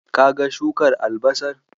Kaga shukar albasar?